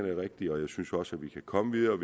er rigtige og jeg synes også at vi kan komme videre